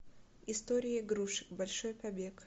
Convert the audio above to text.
история игрушек большой побег